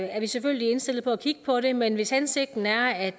er vi selvfølgelig indstillet på at kigge på det men hvis hensigten er at